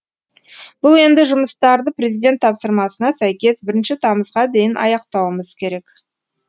бұл енді жұмыстарды президент тапсырмасына сәйкес бірінші тамызға дейін аяқтауымыз керек